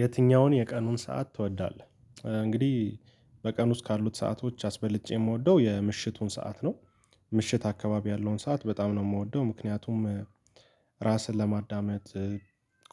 የትኛውን የቀኑን ሰዓት ትወዳለህ? እንግዲህ በቀኑ ውስጥ ካሉት ሰአቶች አስበልጬ የምወደው የምሽቱን ሰዓት ነው። ምሽት አካባቢ ያለውን ሰዓት በጣም ነው የምወደው ምክንያቱም ራስን ለማዳመጥ